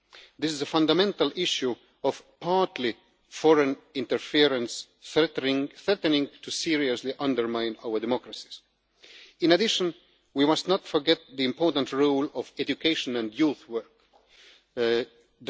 news. This is a fundamental issue of partly foreign interference threatening to seriously undermine our democracies. We must not forget the important role of education and youth work